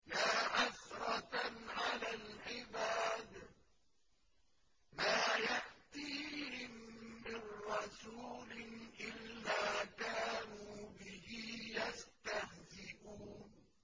يَا حَسْرَةً عَلَى الْعِبَادِ ۚ مَا يَأْتِيهِم مِّن رَّسُولٍ إِلَّا كَانُوا بِهِ يَسْتَهْزِئُونَ